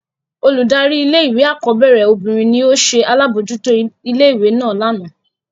Oludari ìlé-ìwé akọbẹrẹ obinrin ni o ṣe alabojuto ìlé-ìwé náa làná.